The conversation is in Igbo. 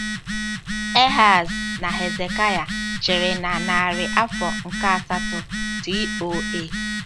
Ehaz na Hezekaịa chịrị na narị afọ nke asatọ T.O.A.